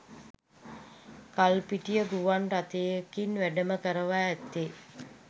කල්පිටිය ගුවන් රථයකින් වැඩම කරවා ඇත්තේ